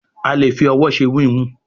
a lẹ fí òwò ṣe wiwun.